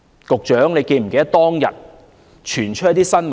局長是否記得當日曾傳出一些新聞？